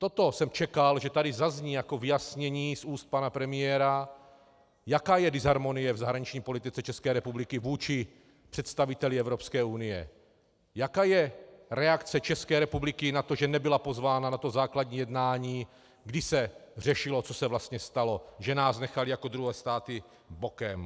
Toto jsem čekal, že tady zazní jako vyjasnění z úst pana premiéra, jaká je disharmonie v zahraniční politice České republiky vůči představiteli Evropské unie, jaká je reakce České republiky na to, že nebyla pozvána na to základní jednání, když se řešilo, co se vlastně stalo, že nás nechali jako druhé státy bokem.